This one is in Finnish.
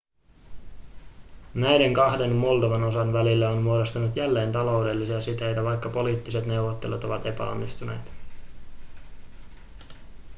näiden kahden moldovan osan välille on muodostunut jälleen taloudellisia siteitä vaikka poliittiset neuvottelut ovat epäonnistuneet